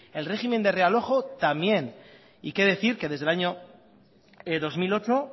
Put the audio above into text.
el régimen de realojo también y qué decir que desde el año dos mil ocho